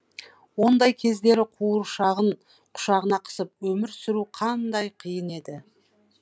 ондай кездері қуыршағын құшағына қысып өмір сүру қандай қиын еді